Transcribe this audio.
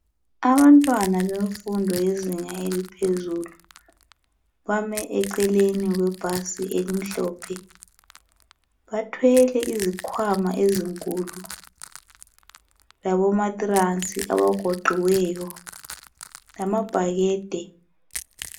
Abantwana bemfundo yezinga eliphezulu bame eceleni kwebhasi emhlophe bathwele izikhwama ezinkulu labo mattress agoqiwe lamabhakede.